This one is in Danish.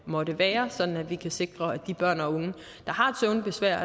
måtte være sådan at vi kan sikre at de børn og unge der har søvnbesvær